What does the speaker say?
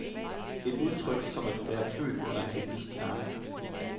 Et udtryk som at være født under en heldig stjerne.